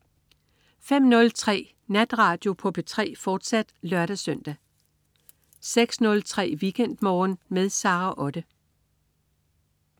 05.03 Natradio på P3, fortsat (lør-søn) 06.03 WeekendMorgen med Sara Otte